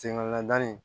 Senŋɔnɔn da nin